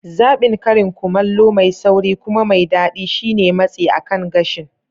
Zaɓin karin kumallo mai sauri kuma mai daɗi shine matsi akan gashin